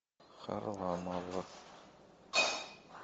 харламов